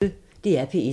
DR P1